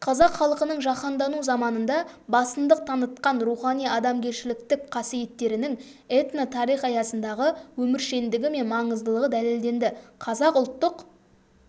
қазақ халқының жаһандану заманында басымдық танытқан рухани-адамгершіліктік қасиеттерінің этнотарих аясындағы өміршеңдігі мен маңыздылығы дәлелденді қазақ ұлттық